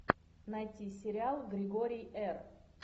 найти сериал григорий р